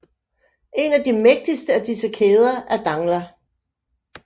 En af de mægtigste af disse kæder er Dangla